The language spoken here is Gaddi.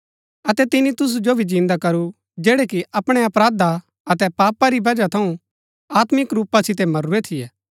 अतै तिनी तुसु जो भी जिन्दा करू जैड़ै कि अपणै अपराधा अतै पापा री बजहा थऊँ आत्मिक रूपा सितै मरूरै थियै